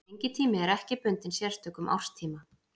Fengitími er ekki bundinn sérstökum árstíma.